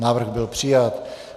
Návrh byl přijat.